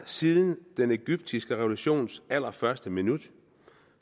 siden den egyptiske revolutions allerførste minut